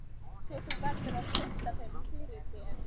Svo þú verður að treysta þeim fyrir. þér.